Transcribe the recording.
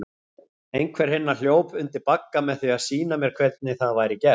Einhver hinna hljóp undir bagga með því að sýna mér hvernig það væri gert.